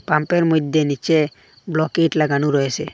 পাম্পের মইধ্যে নীচে লাগানো রয়েসে ।